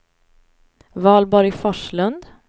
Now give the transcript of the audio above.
Valborg Forslund